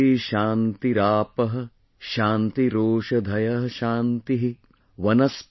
Prithvi ShantiRapah ShantiRoshadhayahShantih।